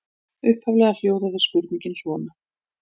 Upphaflega hljóðaði spurningin svona: